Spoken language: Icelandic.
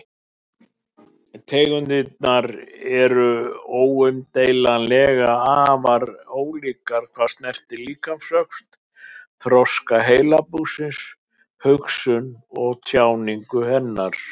Tegundirnar eru óumdeilanlega afar ólíkar hvað snertir líkamsvöxt, þroska heilabúsins, hugsun og tjáningu hennar.